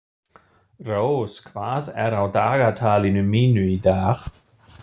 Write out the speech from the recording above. Rós, hvað er á dagatalinu mínu í dag?